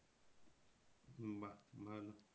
বাহ ভালো